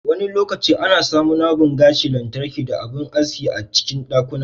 Wani lokaci ana samunabun gashi lantarki da abun aski a cikin ɗakuna.